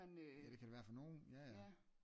Ja det kan det være for nogle ja ja